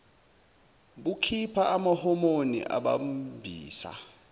bukhipha amahomoni adambisa